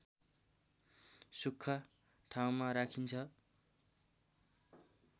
सुख्खा ठाउँमा राखिन्छ